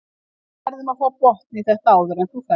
Við verðum að fá botn í þetta áður en þú ferð.